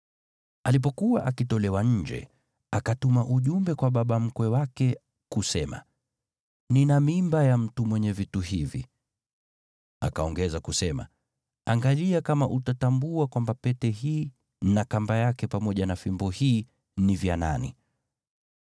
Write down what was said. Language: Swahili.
Alipokuwa akitolewa nje, akatuma ujumbe kwa baba mkwe wake kusema, “Nina mimba ya mtu mwenye vitu hivi.” Akaongeza kusema, “Angalia kama utatambua kwamba pete hii na kamba yake pamoja na fimbo hii ni vya nani.”